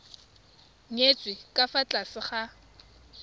nyetswe ka fa tlase ga